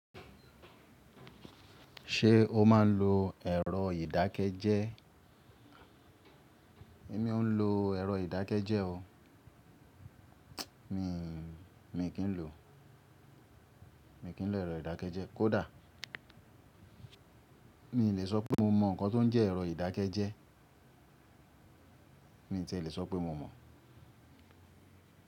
Ṣé o máa ń lo ẹ̀rọ ìdákẹ́jẹ́? Èmi ò ń lo ẹ̀rọ ìdákẹ́jẹ́ o. Mi, mi kì ń lò, mi kì ń lò ẹ̀rọ ìdákẹ́jẹ́. Kódà mi ò lè sọ pé mo mọ nǹkan tó ń jẹ́ ẹ̀rọ ìdákẹ́jẹ́. Mi ò tí ì lè sọ pé mo mọ̀